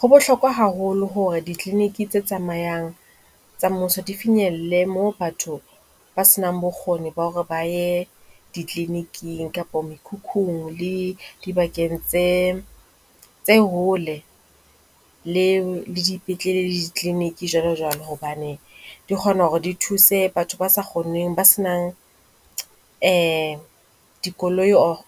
Ho bohlokwa haholo hore di-clinic tse tsamayang tsa mmuso di finyelle mo batho ba senang bokgoni ba hore ba ye di-clinic-ng kapa mekhukhung le dibakeng tse tse hole le dipetlele le di-clinic, jwalo jwalo. Hobane di kgona hore di thuse batho ba sa kgoneng, ba senang dikoloi or